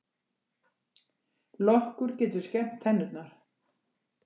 Lokkur getur skemmt tennurnar